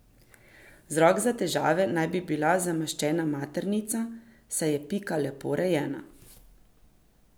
Vzrok za težave naj bi bila zamaščena maternica, saj je Pika lepo rejena.